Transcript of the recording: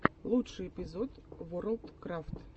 лучший эпизод ворлдкрафт